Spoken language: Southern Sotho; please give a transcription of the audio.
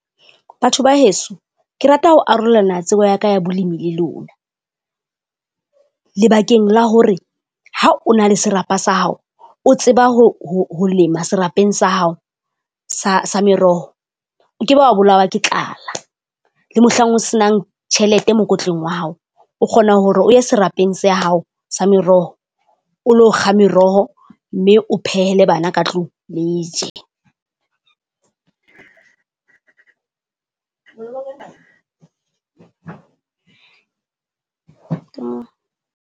Batho ba heso, ke rata ho arolana tsebo ya ka ya bolemi le lona. Lebakeng la hore ha o na le serapa sa hao, o tseba ho ho ho lema serapeng sa hao sa sa meroho, o ke be wa bolawa ke tlala. Le mohlang o se nang tjhelete mokotleng wa hao o kgona hore o ye serapeng se ya hao sa meroho, o lo kga meroho mme o phehele bana ka tlung le je.